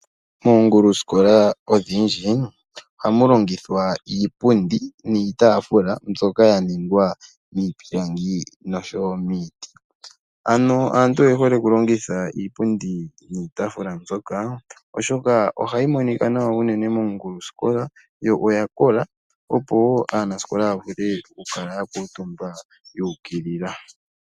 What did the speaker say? Oongulu sikola odhindji ohamu longithwa iipundi niitafula mbyoka yaningwa miipilangi nosho wo miti. Aantu oyehole okulongitha iipundi niitafula mbyoka oshoka ohayi monika unene nawa mongulu sikola yo oyakola opo wo aanasikola yavule okukala yakutumba yuukilila.